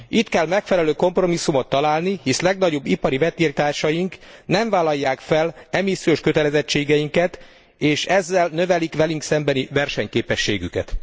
Itt kell megfelelő kompromisszumot találni, hisz legnagyobb ipari vetélytársaink nem vállalják fel e missziós kötelezettségeinket, és ezzel növelik velünk szembeni versenyképességüket.